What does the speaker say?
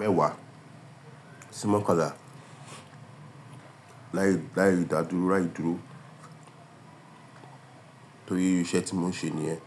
mẹ́wàá sí mọ́kànlá láì dá dúró rà í dúró torí irú iṣẹ́ tí mo n ṣe nìyẹn.